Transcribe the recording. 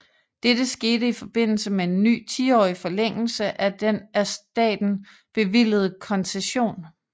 Dette skete i forbindelse med en ny tiårig forlængelse af den af staten bevilligede koncession